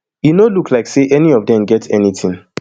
e no look like say any of dem get anytin